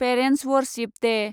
parents worship Day